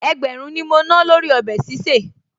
Ẹgbẹ̀rún ni mo ná lórí ọbẹ̀ sísè